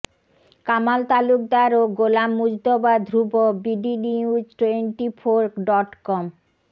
কামাল তালুকদার ও Golam Mujtaba Dhruba bdnews twenty four dot com